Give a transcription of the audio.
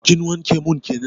Kin wanke mun keken?